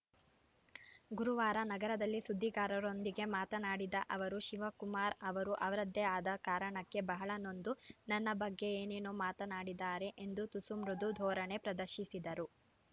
ಗುರುವಾರ ನಗರದಲ್ಲಿ ಸುದ್ದಿಗಾರರೊಂದಿಗೆ ಮಾತನಾಡಿದ ಅವರು ಶಿವಕುಮಾರ್‌ ಅವರು ಅವರದೇ ಆದ ಕಾರಣಕ್ಕೆ ಬಹಳ ನೊಂದು ನನ್ನ ಬಗ್ಗೆ ಏನೇನೋ ಮಾತನಾಡಿದ್ದಾರೆ ಎಂದು ತುಸು ಮೃದು ಧೋರಣೆ ಪ್ರದರ್ಶಿಸಿದರು